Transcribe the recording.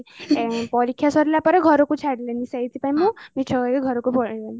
ପରୀକ୍ଷା ସାରିଲା ପରେ ଘରକୁ ଛାଡିଲେନି ସେଇଥି ପାଇଁ ମୁଁ ମିଛ କହି ଘରକୁ ପଳେଇ ଆଇଲି